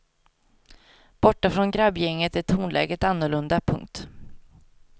Borta från grabbgänget är tonläget annorlunda. punkt